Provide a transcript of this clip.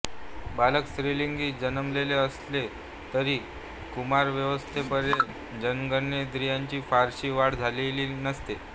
बालक स्त्रीलिंगी जन्मलेले असले तरी कुमारावस्थेपर्यंत जननेंद्रीयांची फारशी वाढ झालेले नसते